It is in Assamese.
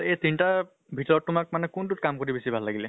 এই তিনিটা ভিতৰত তোমাক মানে কোনটোত কাম কৰি ভাল লাগিলে ?